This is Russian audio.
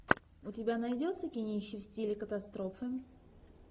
у тебя найдется кинище в стиле катастрофы